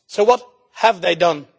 So what have they done?